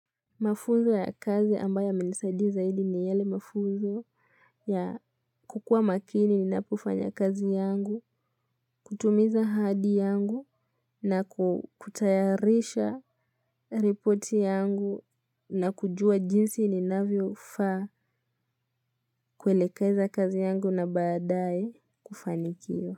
Mafunzo ya kazi ambaye yamenisaidi zaidi ni yale mafunzo ya kukua makini ninapofanya kazi yangu, kutumiza hadi yangu na kutayarisha riporti yangu na kujua jinsi ninavyofaa kuelekeza kazi yangu na baadae kufanikiwa.